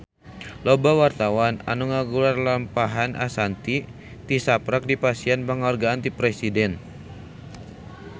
Loba wartawan anu ngaguar lalampahan Ashanti tisaprak dipasihan panghargaan ti Presiden